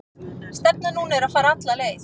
Stefnan núna er að fara alla leið.